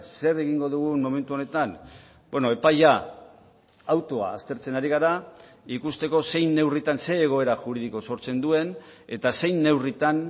zer egingo dugu momentu honetan epaia autoa aztertzen ari gara ikusteko zein neurritan zein egoera juridiko sortzen duen eta zein neurritan